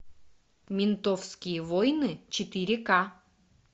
ментовские войны четыре ка